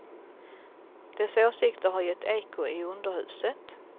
Dess åsikter har gett eko i underhuset.